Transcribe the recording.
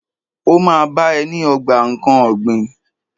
Ó ma bá ẹ ní ogbà nkán ọ̀gbìn.